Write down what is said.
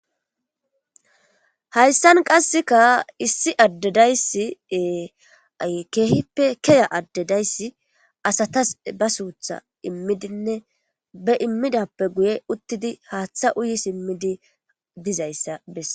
hayssan qasseka issi addedayssi ee-ay keehippe keya addedayssi asatas ba suutha immidinne be immidappe guye uttidi haaththa uyi simmidi bizayssa besse